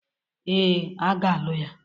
Ee, a ga-alụ ya.